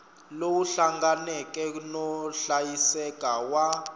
lowu hlanganeke no hlayiseka wa